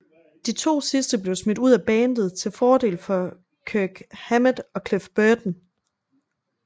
De to sidste blev smidt ud af bandet til fordel for Kirk Hammett og Cliff Burton